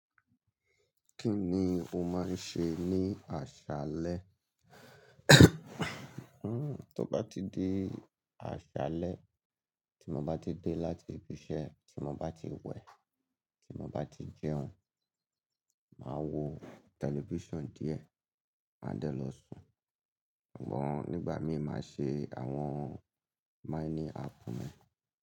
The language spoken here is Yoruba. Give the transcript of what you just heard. Kí ni o máa ń ṣe ní àṣálẹ́? Hmm, tó bá ti di àṣálẹ́, tí mo bá ti dé láti ibi iṣẹ́, tí mo bá ti wẹ̀, tí mo bá ti jẹun, màá wo tẹlifíṣàn díẹ̀, màá dẹ̀ lọ sùn. Ṣùgbọ́n nígbà mí ì máa ṣe àwọn míní áàpù mi.